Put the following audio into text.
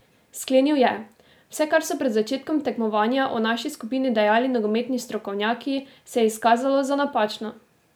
Sklenil je: "Vse, kar so pred začetkom tekmovanja o naši skupini dejali nogometni strokovnjaki, se je izkazalo za napačno.